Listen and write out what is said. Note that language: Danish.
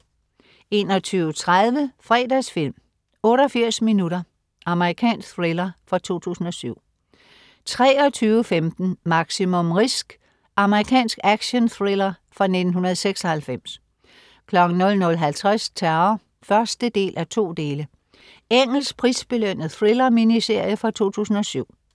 21.30 Fredagsfilm: 88 minutter. Amerikansk thriller fra 2007 23.15 Maximum Risk. Amerikansk actionthriller fra 1996 00.50 Terror 1:2. Engelsk prisbelønnet thriller-miniserie fra 2007